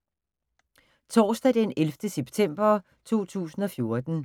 Torsdag d. 11. september 2014